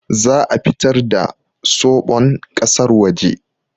Za'a fitar da soɓon kasar waje